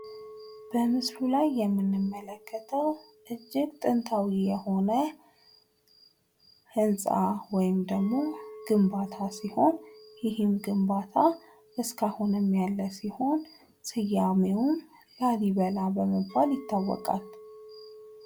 በምስሉ ላይ የምንመለከተዉ እጅግ ጥንታዊ የሆነ ህንፃ ወይም ደግሞ ግንባታ ሲሆን ይህም ግንባታ እስከ አሁንም ያለ ሲሆን ስያሜዉም ላሊበላ በመባል ይታወቃል።